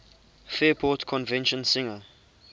fairport convention singer